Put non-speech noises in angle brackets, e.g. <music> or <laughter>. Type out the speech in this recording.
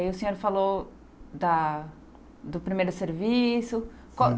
E aí o senhor falou da do primeiro serviço. <unintelligible>